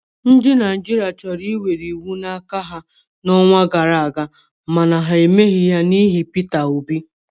Ndị Naijiria chọrọ iwere iwu n'aka ha n'ọnwa gara aga mana ha emeghị n'ihi Peter Obi.